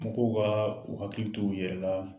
Mɔgɔw kaa u hakili to u yɛlɛ laa.